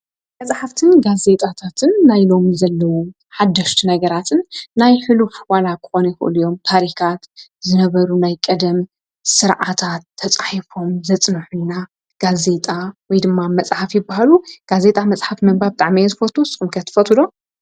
መጻሕፍትን መጽሔታትን ፍልጠትን ዜናን ዝሓዙ ንባብ ነገራት እዮም። መጻሕፍት ብዝርዝር ፍልጠት ይሃቡ፣ መጽሔታት ግን ሓደስቲ ሓበሬታ ይቐርቡ። ክትባብ ሓሳብ ይስፋሕን ፍልጠት ይውስኽን።